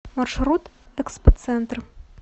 маршрут экспоцентр